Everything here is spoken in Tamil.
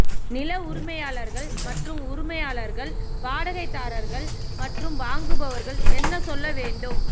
நில உரிமையாளர்கள் மற்றும் உரிமையாளர்கள் வாடகைதாரர்கள் மற்றும் வாங்குபவர்கள் என்ன சொல்ல வேண்டும்